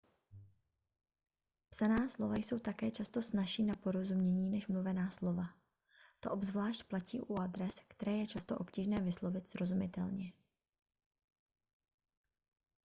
psaná slova jsou také často snazší na porozumění než mluvená slova to obzvlášť platí u adres které je často obtížné vyslovit srozumitelně